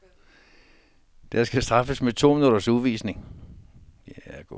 Der skal straffes med en to minutters udvisning.